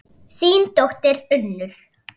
Þín dóttir, Unnur.